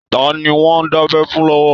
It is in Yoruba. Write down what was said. Ta ni wọ́n ń dábẹ́ fún lọ́wọ́?